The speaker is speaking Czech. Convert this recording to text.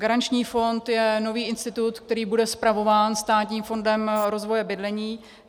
Garanční fond je nový institut, který bude spravován Státním fondem rozvoje bydlení.